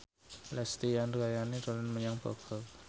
Lesti Andryani dolan menyang Bogor